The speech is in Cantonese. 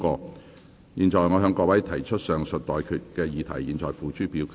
我現在向各位提出上述待決議題，付諸表決。